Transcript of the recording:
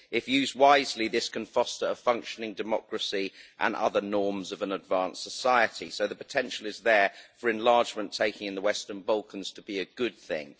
If used wisely, this can foster a functioning democracy and other norms of an advanced society, so the potential is there for enlargement taking in the Western Balkans to be a good thing.